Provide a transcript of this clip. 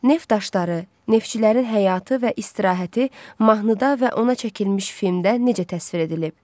Neft daşları, neftçilərin həyatı və istirahəti mahnıda və ona çəkilmiş filmdə necə təsvir edilib?